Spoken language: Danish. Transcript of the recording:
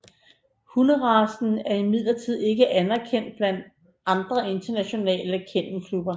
Hunderacen er imidlertid ikke anerkendt blandt andre internationale kennelklubber